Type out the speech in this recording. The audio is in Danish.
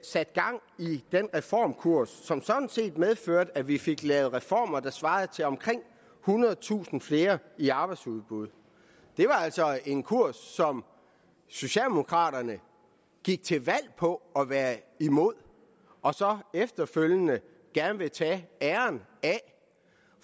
satte gang i den reformkurs som sådan set medførte at vi fik lavet reformer der svarer til omkring ethundredetusind flere i arbejdsudbud det var altså en kurs som socialdemokraterne gik til valg på at være imod og så efterfølgende gerne vil tage æren